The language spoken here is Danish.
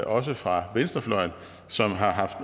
også fra venstrefløjen som har haft